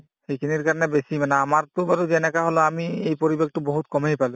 সেইখিনিৰ কাৰণে মানে বেছি মানে আমাৰতো বাৰু যেনেকে হলেও বাৰু আমি এই পৰিৱেশটো বহুত কমেই পালো